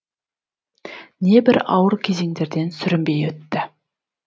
небір ауыр кезеңдерден сүрінбей өтті